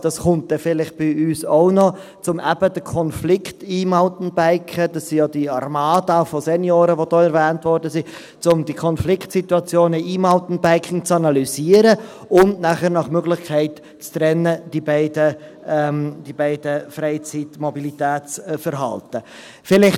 Das wird bei uns dann vielleicht auch noch kommen, um diese Konfliktsituationen mit dem E-Mountainbiking – das ist ja diese Armada von Senioren, die erwähnt worden ist – zu analysieren und diese beiden Freizeitmobilitätsverhalten nach Möglichkeit zu trennen.